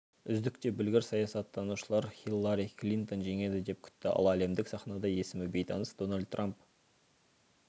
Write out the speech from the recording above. үздік те білгір саясаттанушылар хиллари клинтон жеңеді деп күтті ал әлемдік сахнада есімі бейтаныс дональд трамп